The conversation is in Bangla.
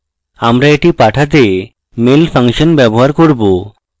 আমরা এটি পাঠাতে mail ফাংশন ব্যবহার করব